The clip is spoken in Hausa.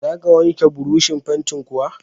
Za ka wanke burushin fantin kuwa?